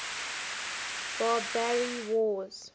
barbary wars